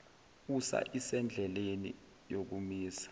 usa isendleleni yokumisa